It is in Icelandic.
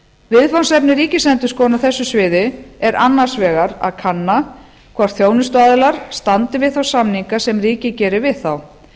viðfangsefni ríkisendurskoðunar á þessu sviði er annars vegar að kanna hvort þjónustuaðilar standi við þá samninga sem ríkið gerir við þá